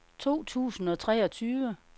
to tusind og treogtyve